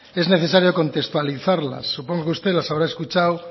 es necesario contextualizarlas supongo que usted las habrá escuchado